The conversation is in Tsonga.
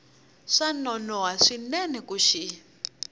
swa nonoha swinene ku xi